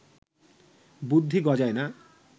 বুদ্ধি গজায় না